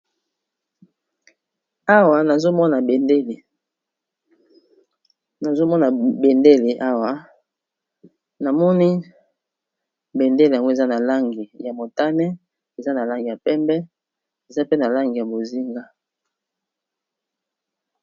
Awa nazomona bendele awa namoni bendele yango eza na langi ya motane eza na langi ya pembe eza pe na langi ya bozinga.